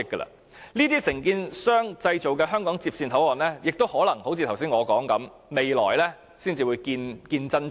由這承建商所製造的香港接線口岸，正如我剛才所說，可能要到未來才會見真章。